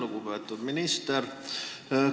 Lugupeetud minister!